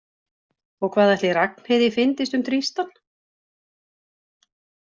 Og hvað ætli Ragnheiði fyndist um Tristan?